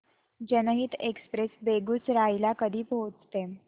जनहित एक्सप्रेस बेगूसराई ला कधी पोहचते